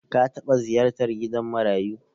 Ka taɓa ziyartar gidan marayu?